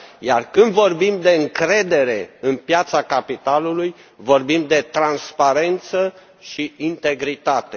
Iar când vorbim de încredere în piața capitalului, vorbim de transparență și integritate.